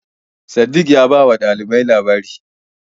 Sadiq ya bawa ɗaliban labari.